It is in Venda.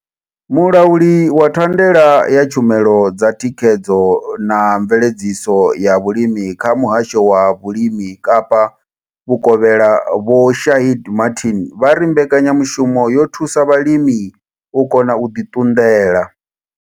Mulauli wa thandela ya tshumelo dza thikhedzo na mveledziso ya vhulimi kha Muhasho wa Vhulimi Kapa Vhukovhela Vho Shaheed Martin vha ri mbekanya mushumo yo thusa vhalimi u kona u ḓi ṱunḓela.